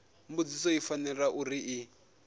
mbudziso i fanela uri i